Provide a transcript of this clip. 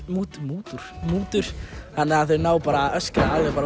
mútur mútur mútur þannig að þau ná að öskra alveg